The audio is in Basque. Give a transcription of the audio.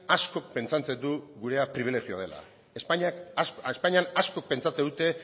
askok pentsatzen du gurea pribilegioa dela espainian asko pentsatzen dute